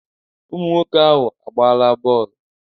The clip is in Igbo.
Ụmụnwoke ahụ agbaala bọọlụ